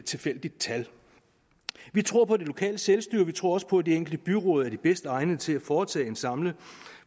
tilfældigt tal vi tror på det lokale selvstyre og vi tror også på at de enkelte byråd er de bedst egnede til at foretage en samlet